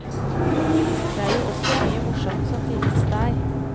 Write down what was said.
Det er jo også mye morsomt som finnes der.